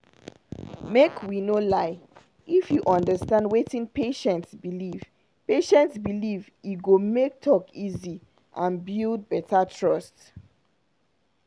make we no lie if you understand wetin patient believe patient believe e go make talk easy and build better trust.